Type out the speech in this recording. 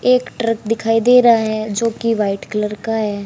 एक ट्रक दिखाई दे रहा है जो की वाइट कलर का है।